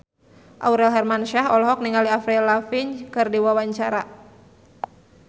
Aurel Hermansyah olohok ningali Avril Lavigne keur diwawancara